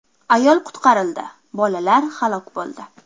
Ayol qutqarildi, bolalar halok bo‘ldi.